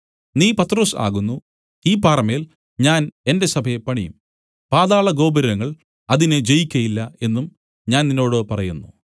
നീ പത്രൊസ് ആകുന്നു ഈ പാറമേൽ ഞാൻ എന്റെ സഭയെ പണിയും പാതാളഗോപുരങ്ങൾ അതിനെ ജയിക്കയില്ല എന്നും ഞാൻ നിന്നോട് പറയുന്നു